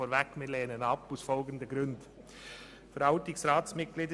Wir lehnen ihn aus folgenden Gründen ab: